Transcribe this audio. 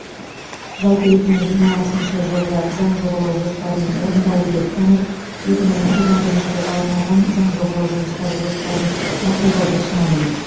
жалпы екі мың жиырмасыншы жылғы заң жобалау жоспарын орындалды деп танып екі мың жиырма бірінші жылға арналған заң жобалау жұмыстары жоспарын мақұлдауды ұсынамын